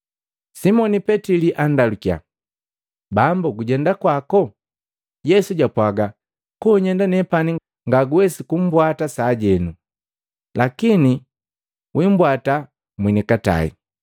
Simoni Petili andalukia, “Bambu, gujenda kwako?” Yesu jwapwaaga, “Konyenda nepani ngaguwesi kumpwata sajeno, lakini wimbwata mwenikatai.”